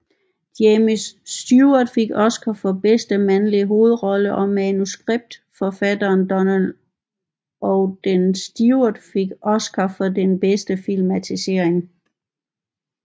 James Stewart fik Oscar for bedste mandlige hovedrolle og manuskriptforfatteren Donald Ogden Stewart fik Oscar for bedste filmatisering